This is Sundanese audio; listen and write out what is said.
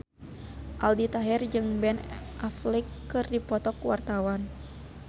Aldi Taher jeung Ben Affleck keur dipoto ku wartawan